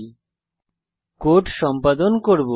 এখানে কোড সম্পাদন করব